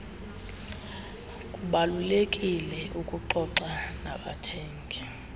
kubalulekile ukuxoxa nabathengi